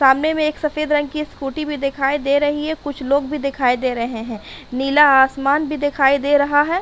सामने में एक सफेद रंग स्कूटी भी दिखाई दे रही है। कुछ लोग भी दिखाई दे रहे हैं। नीला आसमान भी दिखाई दे रहा है।